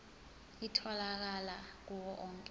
itholakala kuwo onke